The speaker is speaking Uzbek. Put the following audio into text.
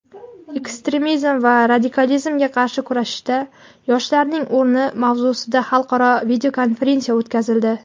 ekstremizm va radikalizmga qarshi kurashishda yoshlarning o‘rni mavzusida xalqaro videokonferensiya o‘tkazildi.